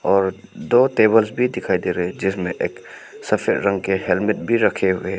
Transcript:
और दो टेबल भी दिखाई दे रहे हैं जिसमे एक सफेद रंग के हेलमेट भी रखें हुये है।